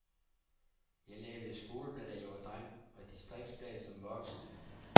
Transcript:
Jeg lavede skoleblad, da jeg var dreng, og distriksblade som voksen.